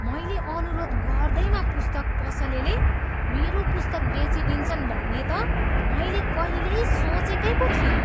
मैले अनुरोध गर्दैमा पुस्तक पसलेले मेरो पुस्तक बेचिदिन्छन् भन्ने त मैले कहिल्यै सोचेकै पो थिइनँ!